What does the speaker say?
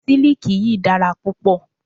Siliki yìí dára púpọ̀.